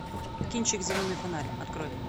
кинчик зеленый фонарь открой